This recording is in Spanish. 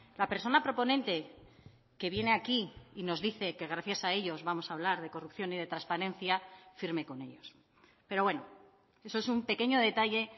la persona proponente que viene aquí y nos dice que gracias a ellos vamos a hablar de corrupción y de transparencia firme con ellos pero bueno eso es un pequeño detalle